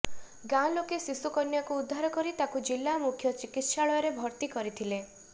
ଗାଁ ଲୋକେ ଶିଶୁକନ୍ୟାକୁ ଉଦ୍ଧାର କରି ତାକୁ ଜିଲ୍ଲା ମୁଖ୍ୟ ଚିକିତ୍ସାଳୟରେ ଭର୍ତ୍ତି କରିଥିଲେ